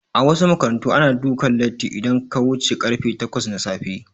A wasu makarantu ana dukan latti idan aka wuce karfe takwas na safe